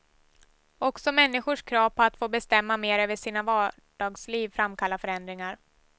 Också människors krav på att få bestämma mer över sina vardagsliv framkallar förändringar.